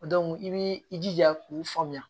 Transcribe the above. i b'i jija k'u faamuya